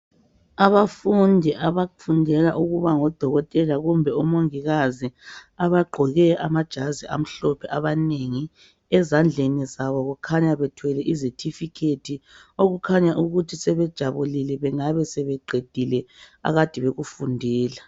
Abafundi abafundela ukuba ngodokotela kumbe omongikazi abagqoke amajazi amhlophe abanengi. Ezandleni zabo kukhanya bethwele izethifikhethi okukhanya ukuthi sebejabulile bengabe sebeqedile akade bekufundela.